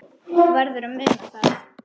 Þú verður að muna það.